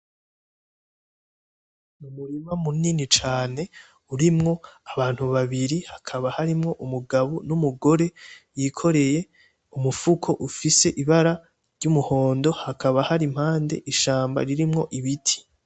Umurima munini cane, urimwo abantu babiri hakaba harimwo umugabo n'umugore yikoreye umufuko ufise ibara ry'umuhondo hakaba hari impande ishamba ririmwo ibiti.